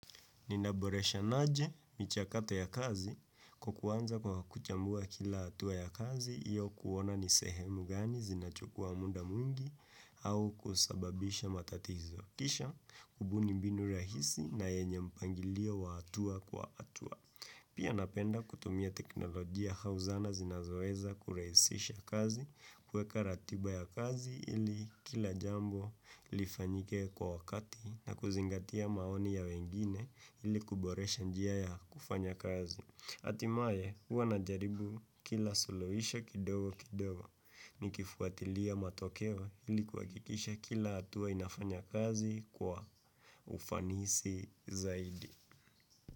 Ninaboresha naje michakato ya kazi kwa kuanza kwa kuchambua kila hatua ya kazi iyo kuona nisehemu gani zinachukua muda mwingi au kusababisha matatizo kisha kubuni mbinu rahisi na yenye mpangilio wa hatua kwa hatua. Pia napenda kutumia teknolojia auzana zinazoweza kurahisisha kazi kuweka ratiba ya kazi ili kila jambo lifanyike kwa wakati na kuzingatia maoni ya wengine ili kuboresha njia ya kufanya kazi. Hatimaye huwa najaribu kila suluhisho kidogo kidogo ni kifuatilia matokeo ili kuhakikisha kila hatua inafanya kazi kwa ufanisi zaidi.